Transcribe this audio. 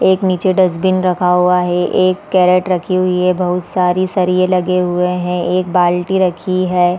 एक नीचे डस्टबिन रखा हुआ है एक कैरट रखी हुई है बहुत सारी सरिये लगे हुए है एक बाल्टी रखी है।